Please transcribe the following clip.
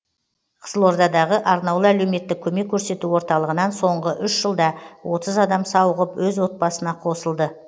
қызылордадағы арнаулы әлеуметтік көмек көрсету орталығынан соңғы үш жылда отыз адам сауығып өз отбасына қосылды